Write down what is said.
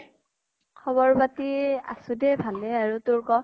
খবৰ পাতি আছো নে ভালে আৰু তোৰ কʼ?